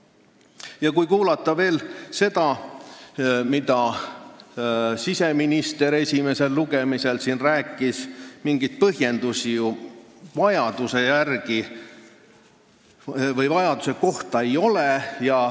Ja kui kuulata veel seda, mida siseminister siin esimesel lugemisel rääkis, siis mingeid põhjendusi ju vajaduse kohta ei ole ...